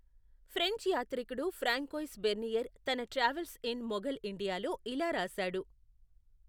French యాత్రికుడు François Bernier తన travels in Mughal ఇండియాలో ఇలా రాశాడు.